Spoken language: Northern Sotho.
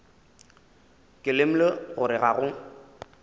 ke lemogile gore ga go